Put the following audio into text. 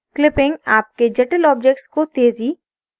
clipping आपके जटिल objects को तेजी